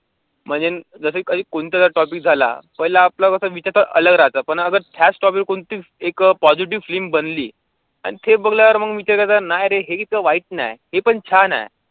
म्हणजे जसं काही कोणता topic झाला, पहिला आपलं कसं विषय अलग राहतो. पण त्याचं topic वरुन कोणती एक positive film बनली आणि ते बनल्यावर मग विचार केला नाही रे हे तर वाईट नाही हे पण छान आहे.